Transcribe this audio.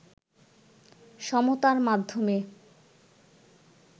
সমতার মাধ্যমে